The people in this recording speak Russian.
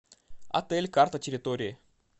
отель карта территории